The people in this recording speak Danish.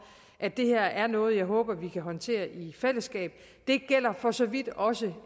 at det her er noget jeg håber vi kan håndtere i fællesskab det gælder for så vidt også